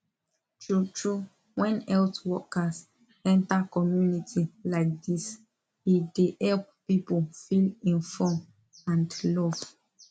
true true when health workers enter community like this e dey help people feel inform and love